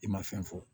I ma fɛn fɔ